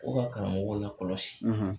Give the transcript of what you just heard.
U ka karamɔgɔw lakɔlɔsi